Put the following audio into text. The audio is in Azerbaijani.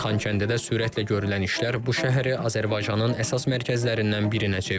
Xankəndidə sürətlə görülən işlər bu şəhəri Azərbaycanın əsas mərkəzlərindən birinə çevirib.